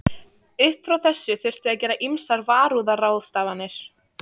Upp frá þessu þurfti að gera ýmsar varúðarráðstafanir.